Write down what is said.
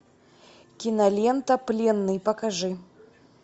кинолента пленный покажи